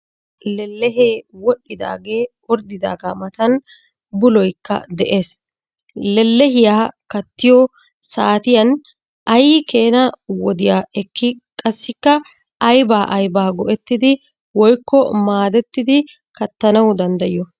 Lellehee wodhidaagee orddidaagaa matan buloykka de'ees. Lellehiyaa kattiyoo saatiyan ay keena wodiyaa ekkii qassikka aybaa aybaa go"ettidi woykko maadetti kattanawu danddayiyo?